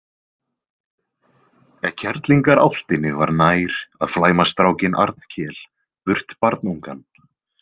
Kerlingarálftinni var nær að flæma strákinn Arnkel burt barnungan.